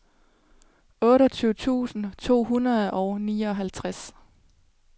otteogtyve tusind to hundrede og nioghalvtreds